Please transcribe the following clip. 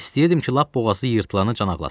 İstəyirdim ki, lap boğazı yırtılana can ağlasın.